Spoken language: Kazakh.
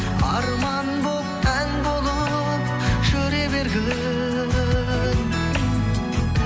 арман болып ән болып жүре бергің